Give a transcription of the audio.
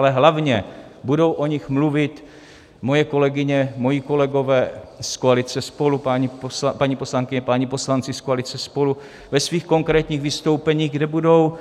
Ale hlavně, budou o nich mluvit moje kolegyně, moji kolegové z koalice SPOLU, paní poslankyně, páni poslanci z koalice SPOLU, ve svých konkrétních vystoupeních, kde budou